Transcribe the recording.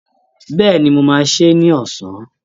Bẹ́ẹ̀ni, mo máa sè é ní ọ̀sán